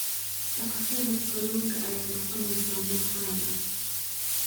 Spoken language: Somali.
Dhaqashada kalluunka ayaa noqonaysa mid caan ah.